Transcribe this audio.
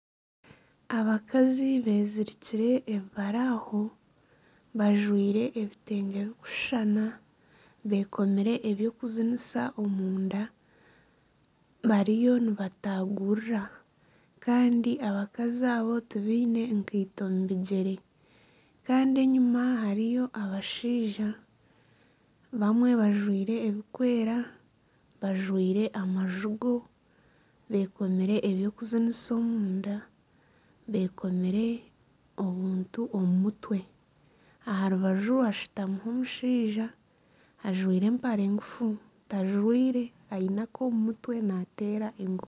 Abakazi bezirikire ebibaraaho bekomire ebyokuzinisa omunda bariyo nibatagurira Kandi abakazi abo tibaine nkaito omu bigyere enyuma hariyo abashaija bamwe bajwaire ebirikwera ,bajwaire amajugo bekomire ebyokuzinisa omunda bekomire obuntu omu mutwe aha rubaju hashutamireho omushaija ajwaire empare ngufu tajwaire aine ak'omu mutwe nateera engoma